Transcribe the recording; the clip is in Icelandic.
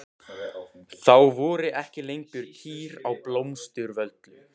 Þá voru ekki lengur kýr á Blómsturvöllum.